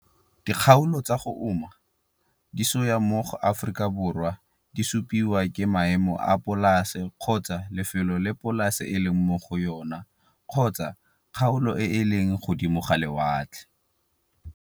Dikgaolo tsa go uma disoya mo Afrikaborwa di supiwa ke maemo a polase kgotsa lefelo le polase e leng mo go yona kgotsa kgaolo e e leng godimo ga lewatle.